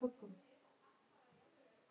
Þín systir, Anna Björk.